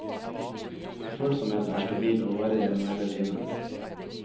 Ufølsomheten er stabil, og varer gjennom hele livet.